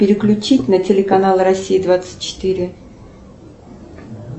переключить на канал россия двадцать четыре